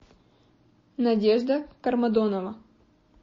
надежда кармадонова